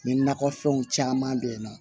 Ni nakɔ fɛnw caman be yen nɔ